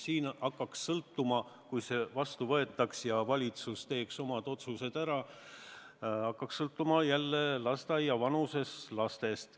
Kui see eelnõu seadusena vastu võetaks ja valitsus teeks omad otsused ära, siis see summa hakkaks sõltuma lasteaiavanuses laste arvust.